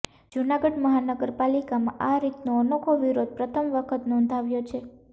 જૂનાગઢ મહાનગરપાલિકામાં આ રીતનો અનોખો વિરોધ પ્રથમ વખત નોંધાવ્યો છે